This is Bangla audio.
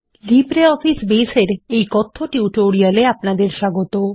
লিব্রিঅফিস বেস এর এই কথ্য টিউটোরিয়ালে আপনাদের স্বাগত